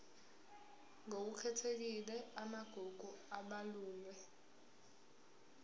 ngokukhethekile amagugu abalulwe